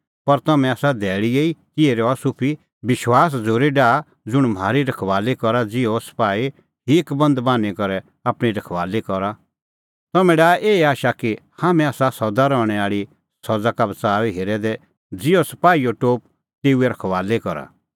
पर हाम्हैं आसा धैल़ीए तेही रहा सुफी विश्वास और झ़ूरी डाहा ज़ुंण म्हारी रखबाली करा ज़िहअ सपाही हीकबंद बान्हीं करै आपणीं रखबाली करा तम्हैं डाहा एही आशा कि हाम्हैं आसा सदा रहणैं आल़ी सज़ा का बच़ाऊई हेरै दै ज़िहअ सपाहीओ टोप तेऊए रखबाली करा